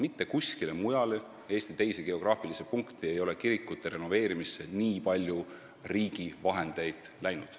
Mitte kuskile mujale Eesti geograafilisse punkti ei ole kirikute renoveerimisse nii palju riigi raha läinud.